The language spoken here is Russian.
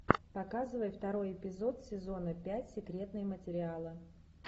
показывай второй эпизод сезона пять секретные материалы